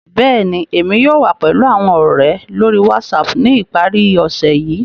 Bẹ́ẹ̀ni, Emi yóò wa pẹlu awọn ọrẹ lori WhatsApp ni ipari ose yii.